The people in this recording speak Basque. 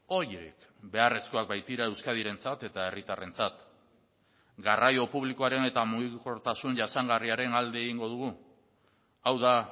horiek beharrezkoak baitira euskadirentzat eta herritarrentzat garraio publikoaren eta mugikortasun jasangarriaren alde egingo dugu hau da